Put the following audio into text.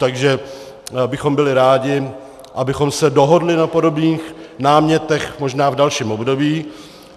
Takže bychom byli rádi, abychom se dohodli na podobných námětech možná v dalším období.